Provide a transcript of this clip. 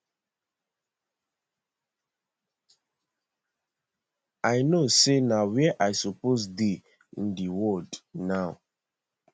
i know say na where i supposed dey in di world now